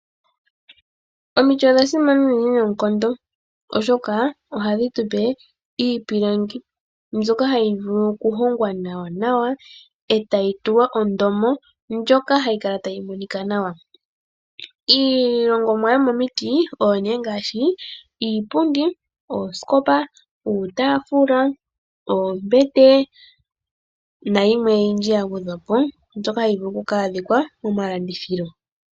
Omiti odha simana uunene noonkondo oshoka ohadhi tu pe iipilangi mbyoka hayi vulu okuhongwa nawa nawa e tayi tulwa ondomo opo yikale tayi monika nawa. Iihongomwa yomiipilangi oyo nee ngaashi iipundi, oosikopa, iitaafula, oombete nayimwe oyindji yagwedhwa po mbyoka hayi vulu oku adhika momalandithilo.